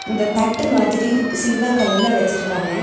இந்த தட்டு மாதிரி சில்வர் கலர்ல வச்சிருக்காங்க.